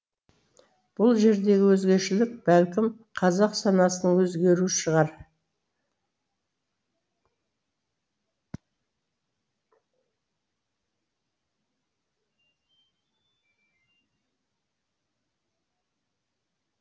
бұл жердегі өзгешелік бәлкім қазақ санасының өзгеруі шығар